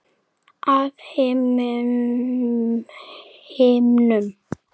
Af himnum?